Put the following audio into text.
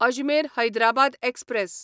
Ajmer Hyderabad express